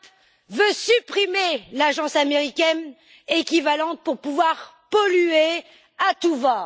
Trump veut supprimer l'agence américaine équivalente pour pouvoir polluer à tout va.